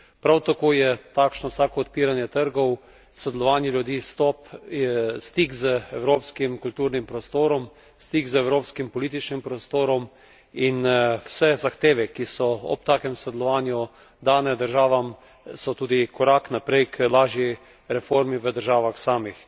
Prav tako je takšno vsako odpiranje trgov, sodelovanju ljudi stop je stik z evropskim kulturnim prostorom, stik z evropskim političnim prostorom in vse zahteve, ki so ob takem sodelovanju dane državam, so tudi korak naprej k lažji reformi v državah samih.